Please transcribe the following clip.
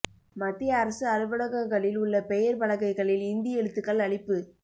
மத்திய அரசு அலுவலகங்களில் உள்ள பெயர் பலகைகளில் இந்தி எழுத்துக்கள் அழிப்பு